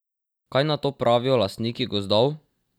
Kaj na to pravijo lastniki gozdov?